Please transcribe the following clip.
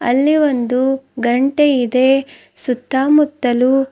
ಅಲ್ಲಿ ಒಂದು ಗಂಟೆ ಇದೆ ಸುತ್ತಮುತ್ತಲು --